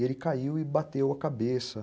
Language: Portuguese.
E ele caiu e bateu a cabeça.